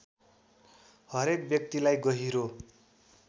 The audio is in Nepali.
हरेक व्यक्तिलाई गहिरो